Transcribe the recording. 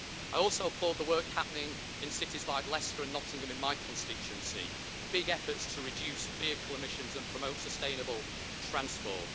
I also applaud the work happening in cities like Leicester and Nottingham in my constituency big efforts to reduce vehicle emissions and promote sustainable transport.